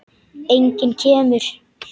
Enginn kemur.